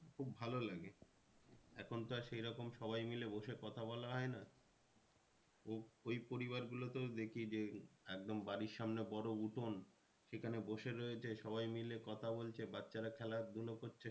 খুব ভালো লাগে এখন তো আর সেই রকম সবাই মিলে বসে কথা বলা হয় না। ওই পরিবার গুলোকেও দেখি যে একদম বাড়ির সামনে বড়ো উঠান সেখানে বসে রয়েছে সবাই মিলে কথা বলছে বাচ্চারা খেলা ধুলো করছে